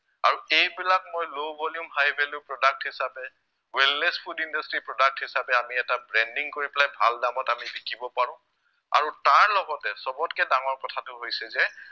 আৰু এইবিলাক মই low volume high value product হিচাপে wellness food industry product হিচাপে আমি এটা branding কৰি পেলাই ভাল দামত আমি বিকিব পাৰো আৰু তাৰ লগতে সৱতকে ডাঙৰ কথাটো হৈছে যে